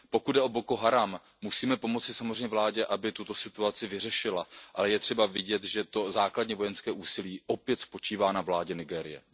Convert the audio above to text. Pokud jde o Boko Haram musíme pomoci samozřejmě vládě, aby tuto situaci vyřešila. Je třeba vidět, že to základní vojenské úsilí opět spočívá na vládě Nigérie.